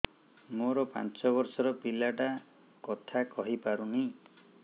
ମୋର ପାଞ୍ଚ ଵର୍ଷ ର ପିଲା ଟା କଥା କହି ପାରୁନି